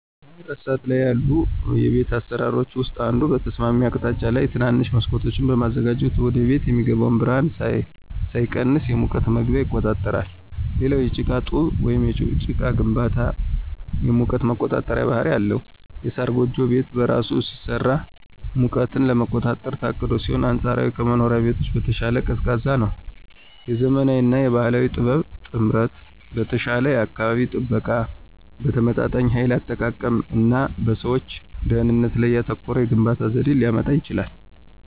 በመረሳት ላይ ያሉ የቤት አሰራሮች ውስጥ አንዱ በተስማሚ አቅጣጫ ላይ ትናንሽ መስኮቶችን በማዘጋጀት ወደቤት የሚገባው ብርሃን ሳይቀንስ የሙቀት መግቢያ ይቆጣጠራል። ሌላው የጭቃ ጡብ ወይም ጭቃ ግንባታ የሙቀት የመቆጣጠር ባህሪ አለው። የሳር ጎጆ ቤት በራሱ ሲሰራ ሙቀትን ለመቆጣጠር ታቅዶ ሲሆን አንፃራዊ ከዘመናዊ ቤቶች በተሻለ ቀዝቃዛ ነው። የዘመናዊ እና የባህል ጥበብ ጥምረት በተሻለ የአካባቢ ጥበቃ፣ በተመጣጣኝ ኃይል አጠቃቀም እና በሰዎች ደህንነት ላይ ያተኮረ የግንባታ ዘዴን ሊያመጣ ይችላል።